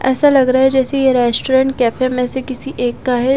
ऐसा लग रहा है जैसे ये रेस्टोरेंट कैफै में से किसी एक का है --